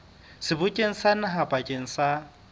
sebokeng sa naha bakeng sa